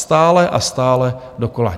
Stále a stále dokola.